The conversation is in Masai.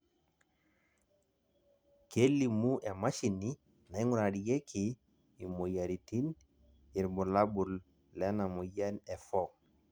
kelimu emashini naingurarieki imoyiaritin irbulabol lena moyian e for